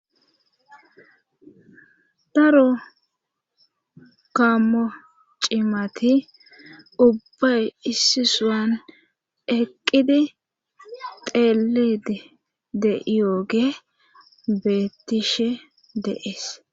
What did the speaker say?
daro kammo cimati ubba issisuwan eqqidi teelidi de iyooge beetishe deees